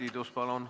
Urve Tiidus, palun!